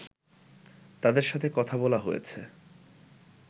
তাদের সাথে কথা বলা হয়েছে